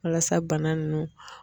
Walasa bana nunnu.